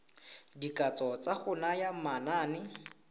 dikatso tsa go naya manane